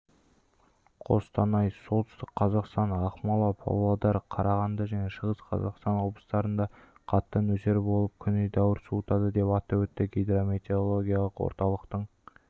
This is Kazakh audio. қостанай солтүстік қазақстан ақмола павлодар қарағанды және шығыс қазақстан облыстарында қатты нөсер болып күн едәуір суытады деп атап өтті гидрометеорологиялық орталықтың